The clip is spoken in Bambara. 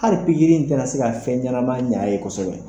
Ali in tɛna se ka fɛn ɲɛnama ɲ'a ye kosɛbɛ.